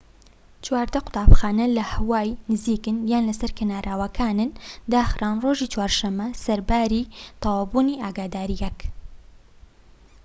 چواردە قوتابخانە لە هاوای نزیکن یان لەسەر کەناراوەکانن داخران ڕۆژی چوارشەمە سەرباری تەواوبوونی ئاگاداریەکە